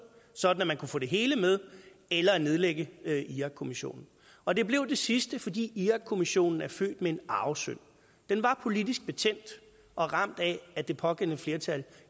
sådan at man kunne få det hele med eller at nedlægge irakkommissionen og det blev det sidste fordi irakkommissionen er født med en arvesynd den var politisk betændt og ramt af at det pågældende flertal